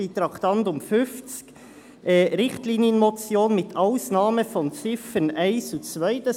Beim Traktandum 50 steht «Richtlinienmotion mit Ausnahme der Ziffern 1 und 2».